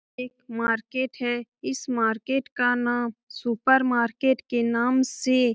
एक मार्केट है इस मार्केट का नाम सुपर मार्केट के नाम से --